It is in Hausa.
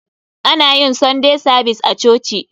Ana yin sunday savis a coci.